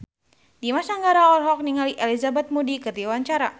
Dimas Anggara olohok ningali Elizabeth Moody keur diwawancara